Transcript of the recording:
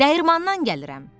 Dəyirmandan gəlirəm.